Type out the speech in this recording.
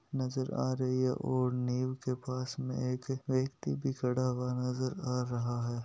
नजर आ रही है ओर नीव के पास में एक व्यक्ति भी खड़ा हुवा नजर आ रहा है।